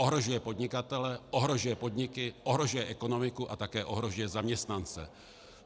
Ohrožuje podnikatele, ohrožuje podniky, ohrožuje ekonomiku a také ohrožuje zaměstnance.